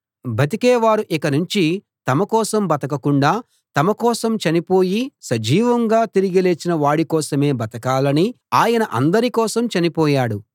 బతికే వారు ఇక నుంచి తమ కోసం బతకకుండా తమ కోసం చనిపోయి సజీవంగా తిరిగి లేచిన వాడి కోసమే బతకాలని ఆయన అందరి కోసం చనిపోయాడు